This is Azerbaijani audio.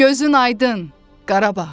Gözün aydın Qarabağ.